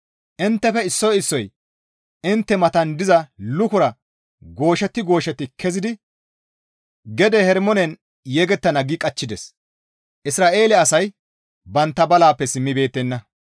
«Inttefe issoy issoy intte matan diza lukora gooshetti gooshetti kezidi gede Herimoonen yegettana» gi caaqqides.